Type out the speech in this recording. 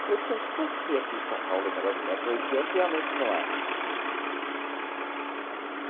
Eu falei, poxa, por que aqui em São Paulo o negócio de metro e oitenta realmente não é?